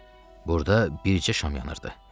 Burda bircə şam yanırdı.